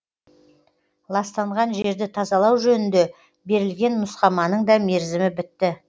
ластанған жерді тазалау жөнінде берілген нұсқаманың да мерзімі бітті